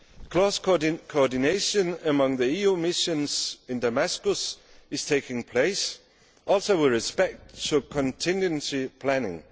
Close coordination among the EU missions in Damascus is taking place also with respect to contingency planning.